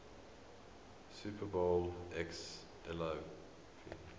super bowl xliv